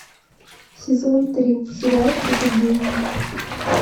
сезон три сериальчика гений